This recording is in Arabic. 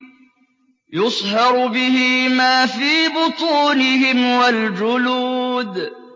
يُصْهَرُ بِهِ مَا فِي بُطُونِهِمْ وَالْجُلُودُ